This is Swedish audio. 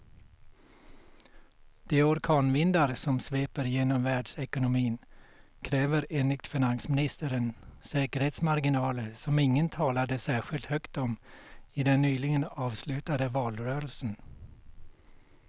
De orkanvindar som sveper genom världsekonomin kräver enligt finansministern säkerhetsmarginaler som ingen talade särskilt högt om i den nyligen avslutade valrörelsen.